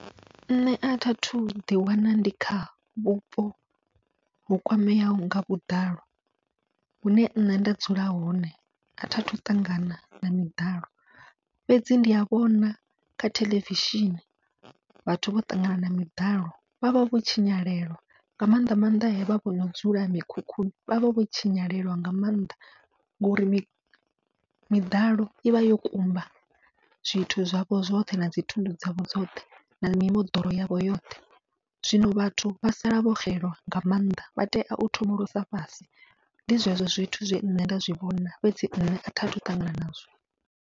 Nṋe athi athu ḓi wana ndi kha vhupo ho kwameaho nga vhuḓalo, hune nṋe nda dzula hone athi athu ṱangana na miḓalo fhedzi ndi a vhona kha theḽevishini vhathu vho ṱangana na miḓalo, vha vha vho tshinyalwa nga maanḓa maanḓa hevha vhono dzula mikhukhuni vha vha vho tshinyalelwa nga maanḓa, ngori miḓalo ivha yo kumba zwithu zwavho zwoṱhe nadzi thundu dzavho dzoṱhe na mimoḓoro yavho yoṱhe, zwino vhathu vha sala vho xelelwa nga maanḓa vha tea u thomolosa fhasi ndi zwezwo zwithu zwe nṋe nda zwivhona fhedzi nṋe athi athu u ṱangana nazwo.